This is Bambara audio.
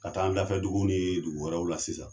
Ka taa an dafɛ dugu ni dugu wɛrɛw la sisan.